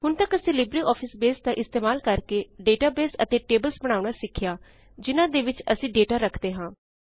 ਹੁਣ ਤਕ ਅਸੀ ਲਿਬਰੇਆਫਿਸ ਬੇਸ ਦਾ ਇਸਤੇਮਾਲ ਕਰਕੇ ਡੇਟਾਬੇਸ ਅਤੇ ਟੇਬ੍ਲ੍ਸ ਬਣਾਉਣਾ ਸਿਖਿਆ ਜਿਨਾਂ ਦੇ ਵਿੱਚ ਅਸੀ ਡੇਟਾ ਰਖਦੇ ਹਾਂ